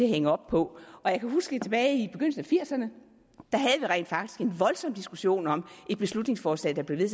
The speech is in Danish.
hængt op på jeg kan huske tilbage i nitten firserne rent faktisk havde en voldsom diskussion om et beslutningsforslag der blev